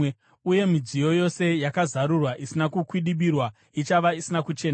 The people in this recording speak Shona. uye midziyo yose yakazarurwa, isina kukwidibirwa, ichava isina kuchena.